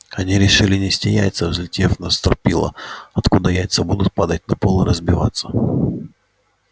они решили нести яйца взлетев на стропила откуда яйца будут падать на пол и разбиваться